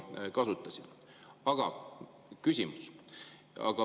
Aga küsimus.